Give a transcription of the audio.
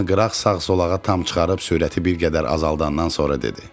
O maşını qıraq sağ-sol tərəfə tam çıxarıb sürəti bir qədər azaldandan sonra dedi.